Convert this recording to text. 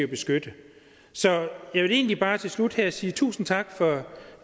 beskytte så jeg vil egentlig bare til slut her sige tusind tak